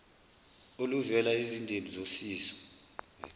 oluvela ezizindeni zosizo